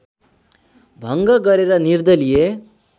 भङ्ग गरेर निर्दलीय